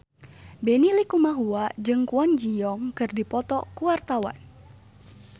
Benny Likumahua jeung Kwon Ji Yong keur dipoto ku wartawan